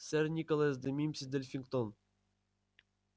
сэр николас де мимси-дельфингтон